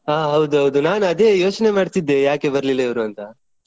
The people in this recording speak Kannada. ಹಾ ಹೌದೌದು ನಾನ್ ಅದೇ ಯೋಚನೆ ಮಾಡ್ತಿದ್ದೆ ಯಾಕೆ ಬರ್ಲಿಲ್ಲ ಇವ್ರು ಅಂತ.